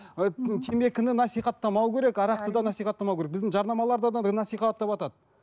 і темекіні насихаттамау керек арақты да насихаттамау керек бізде жарнамаларда да насихаттаватады